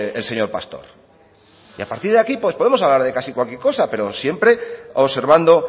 el señor pastor y a partir de aquí pues podemos hablar casi de cualquier cosa pero siempre observando